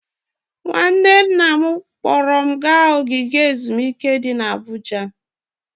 Nwanne nna m kpọọrọ m gaa ogige ezumike dị n'Abuja.